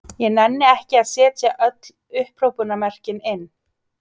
Ég nenni ekki að setja öll upphrópunarmerkin inn.